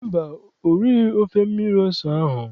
Mba, o righị ofe mmiri ose ahụ.